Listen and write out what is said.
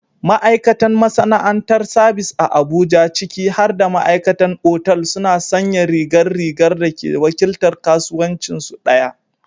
Ma'aikatan masana'antar sabis a Abuja, ciki har da ma'aikatan otal, suna sanya rigar rigar da ke wakiltar kasuwancinsu ɗaya.